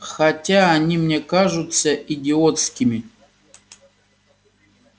хотя они мне кажутся идиотскими